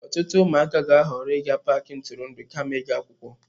Ọtụtụ ụmụaka ga-ahọrọ ịga paaki ntụrụndụ kama ịga akwụkwọ.